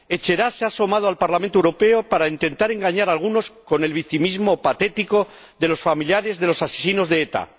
Etxerat se ha asomado al Parlamento Europeo para intentar engañar a algunos con el victimismo patético de los familiares de los asesinos de ETA.